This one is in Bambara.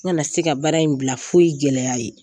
N kana se ka baara in bila foyi gɛlɛya